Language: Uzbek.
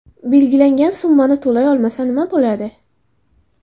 Belgilangan summani to‘lay olmasa, nima bo‘ladi?